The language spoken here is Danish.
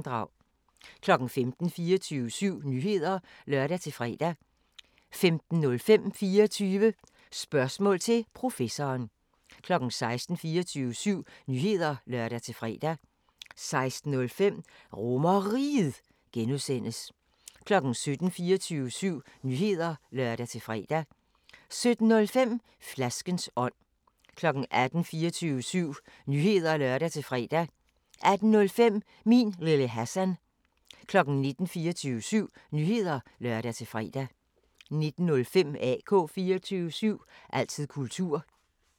15:00: 24syv Nyheder (lør-fre) 15:05: 24 Spørgsmål til Professoren 16:00: 24syv Nyheder (lør-fre) 16:05: RomerRiget (G) 17:00: 24syv Nyheder (lør-fre) 17:05: Flaskens ånd 18:00: 24syv Nyheder (lør-fre) 18:05: Min Lille Hassan 19:00: 24syv Nyheder (lør-fre) 19:05: AK 24syv – altid kultur